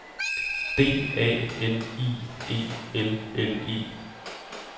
D A N I E L L E